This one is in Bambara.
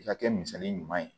I ka kɛ misali ɲuman ye